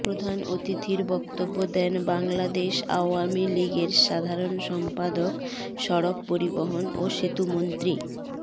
প্রধান অতিথির বক্তব্য দেন বাংলাদেশ আওয়ামী লীগের সাধারণ সম্পাদক সড়ক পরিবহন ও সেতুমন্ত্রী